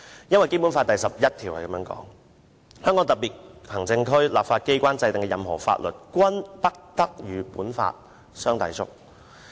根據《基本法》第十一條，香港特別行政區立法機關制定的任何法律，均不得同《基本法》相抵觸。